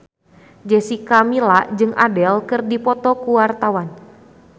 Jessica Milla jeung Adele keur dipoto ku wartawan